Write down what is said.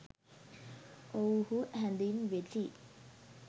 ඔවුහු හැඳින්වෙති.